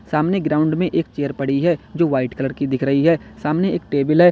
सामने ग्राउंड में एक चेयर पड़ी है जो वाइट कलर की दिख रही है सामने एक टेबल है।